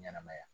Ɲɛnɛmaya